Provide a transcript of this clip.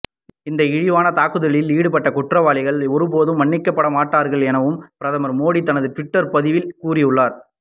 இந்த இழிவான தாக்குதலில் ஈடுபட்ட குற்றவாளிகள் ஒருபோதும் மன்னிக்கப்பட மாட்டார்கள் எனவும் பிரதமர் மோடி தனது ட்விட்டர் பதிவில் கூறியுள்ளார்